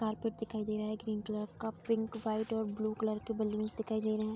Carpet दिखाई दे रहा है ग्रीन कलर का पिंक वाइट और ब्लू कलर के बलूंस दिखाई दे रहे हैं।